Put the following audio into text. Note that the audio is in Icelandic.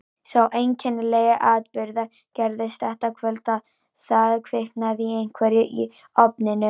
Sá einkennilegi atburður gerðist þetta kvöld að það kviknaði í einhverju í ofninum.